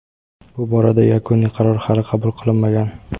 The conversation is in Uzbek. bu borada yakuniy qaror hali qabul qilinmagan.